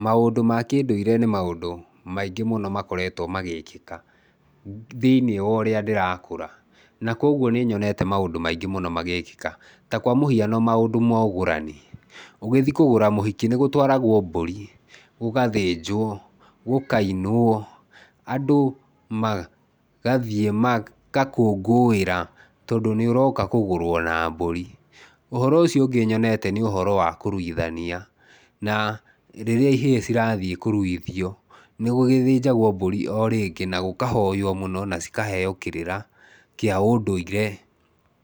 Maũndũ ma kĩndũire nĩ maũndũ maingĩ mũno makoretwo magĩkĩka thĩiniĩ wa ũrĩa ndĩrakũra, na kũoguo nĩ nyonete maũndũ maingĩ mũno magĩkĩka. Ta kwa mũhiano, maũndũ ma ũgũrani, ũgĩthiĩ kũgũra mũhiki nĩ gũtwaragwo mbũri, gũgathĩnjwo, gũkainwo, andũ magathiĩ magakũngũĩra tondũ nĩ ũroka kũgũrwo na mbũri. Ũhoro ũcio ũngĩ nyonete nĩ ũhoro wa kũruithania na rĩrĩa ihĩĩ cirathiĩ kũruithio nĩ gũgĩthĩnjagwo mbũri o rĩngĩ na gũkahoyo mũno na cikaheo kĩrĩra kĩaũndũire.